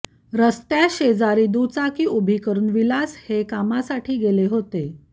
रस्त्याशेजारी दुचाकी उभी करुन विलास हे कामासाठी गेले होते